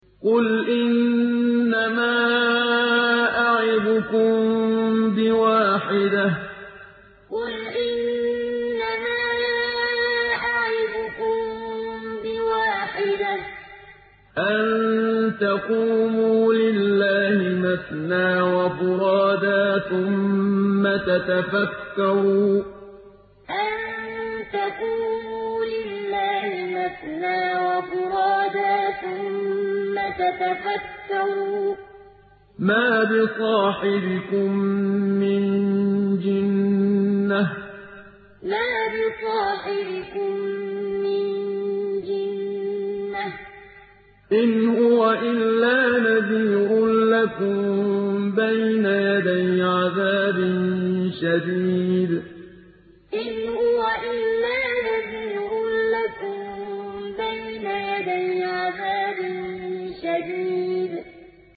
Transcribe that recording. ۞ قُلْ إِنَّمَا أَعِظُكُم بِوَاحِدَةٍ ۖ أَن تَقُومُوا لِلَّهِ مَثْنَىٰ وَفُرَادَىٰ ثُمَّ تَتَفَكَّرُوا ۚ مَا بِصَاحِبِكُم مِّن جِنَّةٍ ۚ إِنْ هُوَ إِلَّا نَذِيرٌ لَّكُم بَيْنَ يَدَيْ عَذَابٍ شَدِيدٍ ۞ قُلْ إِنَّمَا أَعِظُكُم بِوَاحِدَةٍ ۖ أَن تَقُومُوا لِلَّهِ مَثْنَىٰ وَفُرَادَىٰ ثُمَّ تَتَفَكَّرُوا ۚ مَا بِصَاحِبِكُم مِّن جِنَّةٍ ۚ إِنْ هُوَ إِلَّا نَذِيرٌ لَّكُم بَيْنَ يَدَيْ عَذَابٍ شَدِيدٍ